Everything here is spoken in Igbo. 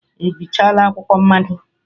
Ị bịchala akwụkwọ mmado?